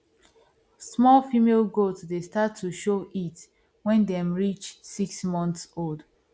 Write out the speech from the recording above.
small female goat dey start to show heat when dem reach six months old